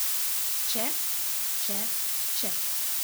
Če, če, če.